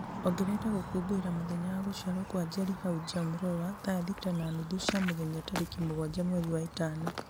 ongerera gũkũngũĩra mũthenya wa gũciarwo kwa njeri haũ jam roller thaa thita na nuthu cia mũthenya tarĩkĩ mũgwanja mweri wa ĩtano